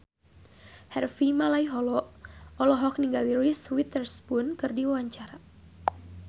Harvey Malaiholo olohok ningali Reese Witherspoon keur diwawancara